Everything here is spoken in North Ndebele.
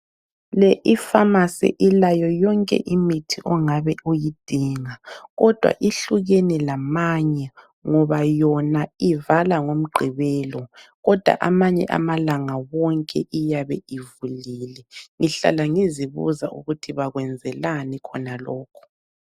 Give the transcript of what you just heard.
Le ifamasi ilayo yonke imithi ongabe uyidinga. Kodwa ihlukene lamanye ngoba yona ivala ngoMgqibelo, kodwa amanye amalanga wonke iyabe ivulile. Ngihlala ngizibuza ukuthi bakwenzelani khonokhu.